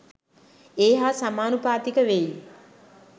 ඒ හා සමානුපාතික වෙයි.